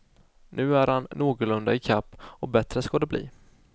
Nu är han någorlunda i kapp och bättre ska det bli.